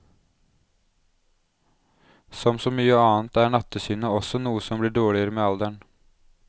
Som så mye annet er nattsynet også noe som blir dårligere med alderen.